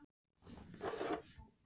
Hefði annar kafbáturinn dregið upp flagg.